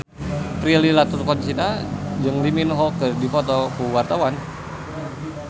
Prilly Latuconsina jeung Lee Min Ho keur dipoto ku wartawan